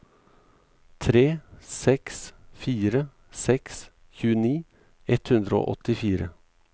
tre seks fire seks tjueni ett hundre og åttifire